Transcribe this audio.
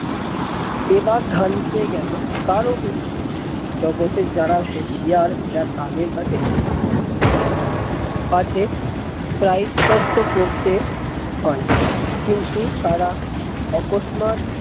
বেবাগ ধান খেয়ে গেলো কারো হুঁশ জগতের যারা হুঁশিয়ার এরা তাদের কাছে ঘেঁষতে চাইলো পাচ্ছে প্রায়শ্চিত্ত করতে হয় কিন্তু তারা অকস্মাৎ